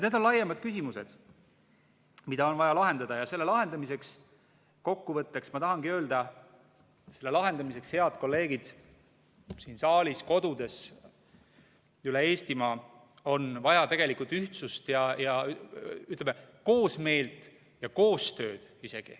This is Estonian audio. Need on laiemad küsimused, mida on vaja lahendada, ja kokkuvõtteks ma tahangi öelda, et selle lahendamiseks, head kolleegid siin saalis, kodudes üle Eestimaa, on vaja ühtsust ja koosmeelt ja isegi koostööd.